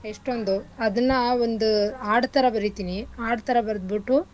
ಎಷ್ಟೊಂದು ಅದನ್ನ ಒಂದ್ ಹಾಡ್ಥರ ಬರೀತಿನಿ ಹಾಡ್ಥರ ಬರ್ದ್ಬುಟ್ಟು